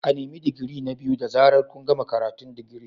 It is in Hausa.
A nemi digiri na biyu da zaran kun gama karatun digiri.